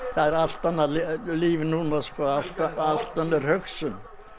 er allt annað líf núna allt allt önnur hugsun